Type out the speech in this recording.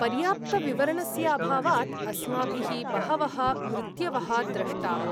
पर्याप्तविवरणस्य अभावात् अस्माभिः बहवः मृत्यवः द्रष्टाः।